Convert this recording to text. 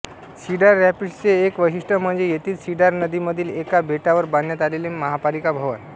cider रॅपिड्सचे एक वैशिष्ट्य म्हणजे येथील सीडार नदीमधील एका बेटावर बांधण्यात आलेले महापालिका भवन